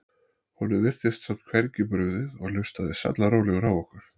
Honum virtist samt hvergi brugðið og hlustaði sallarólegur á okkur.